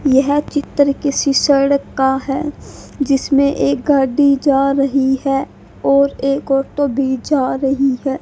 यह चित्र किसी सड़क का है जिसमें एक गाडी जा रही है और एक ऑटो भी जा रही है।